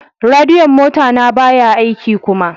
Radiyon mota na baya aiki kuma.